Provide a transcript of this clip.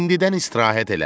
İndidən istirahət elə.